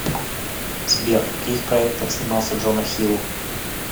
сбер в каких проектах снимался джона хилл